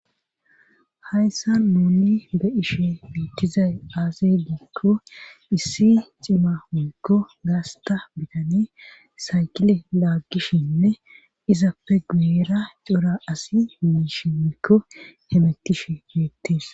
Hayssa nuni be ishe mutizay aasi geikko issi cima woykko gaasta bitane saykile laaggishinne izappe guuera cora asi miish woikko hemettishe yoettes.